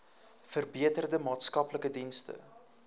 verbeterde maatskaplike dienste